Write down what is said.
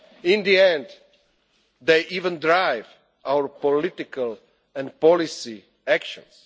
In the end, they even drive our political and policy actions.